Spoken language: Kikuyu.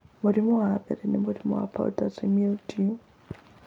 Mũrimũ wa mbere nĩ mũrimũ wa powdery mildew